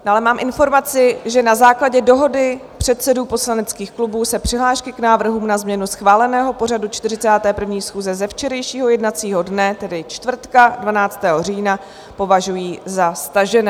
Dále mám informaci, že na základě dohody předsedů poslaneckých klubů se přihlášky k návrhům na změnu schváleného pořadu 41. schůze ze včerejšího jednacího dne, tedy čtvrtka 12. října, považují za stažené.